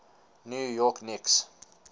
new york knicks